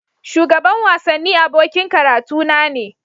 Shugaban wasanni abokin karatuna ne.